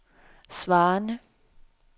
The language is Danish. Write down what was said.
svarende